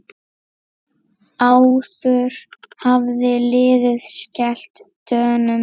Áður hafði liðið skellt Dönum.